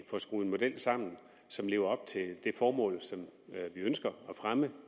får skruet en model sammen som lever op til det formål som vi ønsker at fremme